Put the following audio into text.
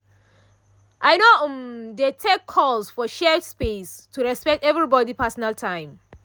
i no um dey take calls for shared space to respect everybody’ personal time.